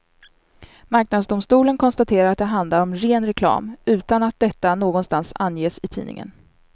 Marknadsdomstolen konstaterar att det handlar om ren reklam, utan att detta någonstans anges i tidningen.